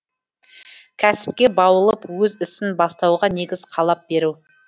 кәсіпке баулып өз ісін бастауға негіз қалап беру